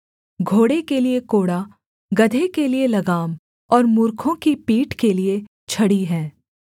घोड़े के लिये कोड़ा गदहे के लिये लगाम और मूर्खों की पीठ के लिये छड़ी है